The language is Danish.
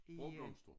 Sprogblomster